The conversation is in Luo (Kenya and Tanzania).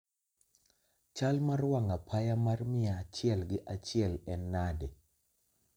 chal mar wang' apaya mar mia achiel gi achiel en nade